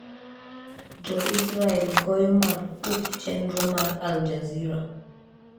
Jo-Israel goyo marfuk chenro mar Al Jazeera